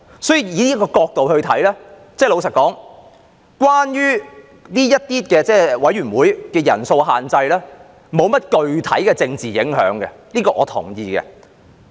從這角度來看，老實說，這些委員會的人數限制並沒有甚麼具體的政治影響，這點我是同意的。